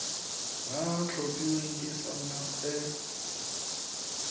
ba tlhophilweng ke sacnasp e